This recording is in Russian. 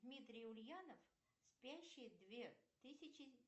дмитрий ульянов спящие две тысячи